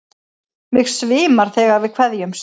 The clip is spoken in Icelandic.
Mig svimar þegar við kveðjumst.